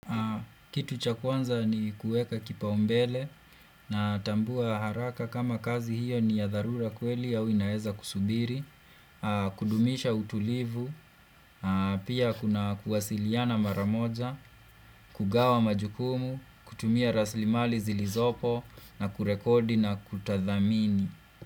Kitu cha kwanza ni kueka kipa umbele natambua haraka kama kazi hiyo ni ya dharura kweli au winaeza kusubiri, kudumisha utulivu, pia kuna kuwasiliana maramoja, kugawa majukumu, kutumia rasilimali zilizopo na kurekodi na kutathamini.